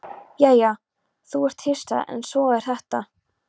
Já, þú ert hissa, en svona er þetta.